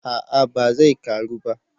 a'a ba zai karu ba